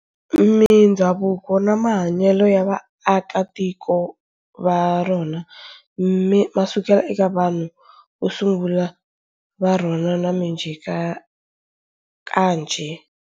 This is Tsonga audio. Mindzhavuko na mahanyele ya vaakatiko varona masukela eka vanhu vosungula varona na minjhekanjhe.